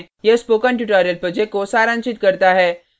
यह spoken tutorial project को सारांशित करता है